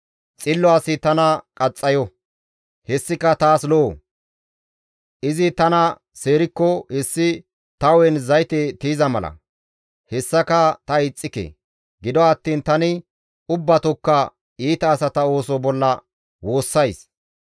Xillo asi tana qaxxayo; hessika taas lo7o; izi tana seerikko hessi ta hu7en zayte tiyiza mala; hessaka ta ixxike; gido attiin tani ubbatokka iita asata ooso bolla woossays.